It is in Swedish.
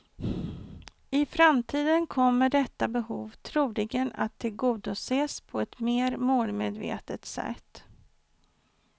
I framtiden kommer detta behov troligen att tillgodoses på ett mer målmedvetet sätt.